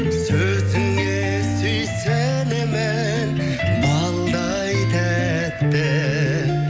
сөзіңе сүйсінемін балдай тәтті